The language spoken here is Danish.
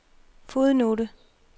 fodnote